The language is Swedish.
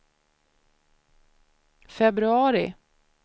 februari